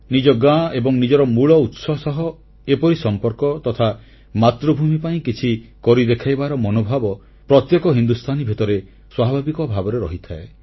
ନିଜ ଗାଁ ଏବଂ ନିଜର ମୂଳ ଉତ୍ସ ସହ ଏପରି ସମ୍ପର୍କ ତଥା ମାତୃଭୂମି ପାଇଁ କିଛି କରି ଦେଖାଇବାର ମନୋଭାବ ପ୍ରତ୍ୟେକ ହିନ୍ଦୁସ୍ଥାନୀ ଭିତରେ ସ୍ୱାଭାବିକ ଭାବରେ ରହିଥାଏ